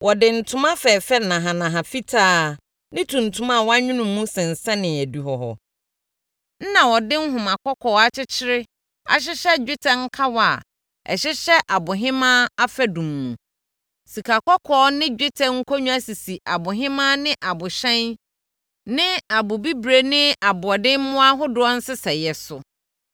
Wɔde ntoma fɛfɛ nahanaha fitaa ne tuntum a wɔanwono mu sensɛnee adihɔ hɔ. Na wɔde nhoma kɔkɔɔ akyekyere ahyɛ dwetɛ nkawa a ɛhyehyɛ abohemaa afadum mu. Sikakɔkɔɔ ne dwetɛ nkonnwa sisi abohemaa ne abohyɛn ne abobire ne aboɔdemmoɔ ahodoɔ nsesɛeɛ so.